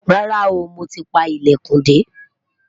rárá o, mọ tí pá ilẹkùn de